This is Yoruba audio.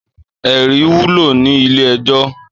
Èrí wúló ni ilé èjò